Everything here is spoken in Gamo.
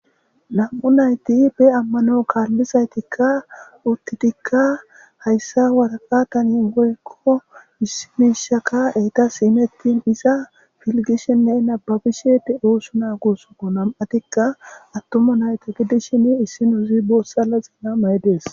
nam7u nayti be ammano kaallizaytikka uttidikka hayssa waraqa tani woykko issimishaka eyta iimettin iza filgishinne nababishe de eosu na gusoko nam7atikka attoma nayta gidishin issino zi boossala ziina ma7i dees